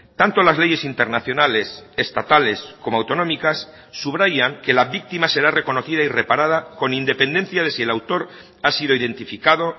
tanto las leyes internacionales estatales como autonómicas subrayan que la víctima será reconocida y reparada con independencia de si el autor ha sido identificado